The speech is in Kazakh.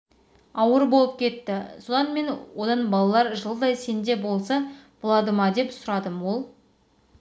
ауыр болып кетті содан мен одан балалар жылдай сенде болса болады ма деп сұрадым ол